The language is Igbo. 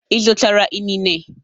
Ị zụtara inine?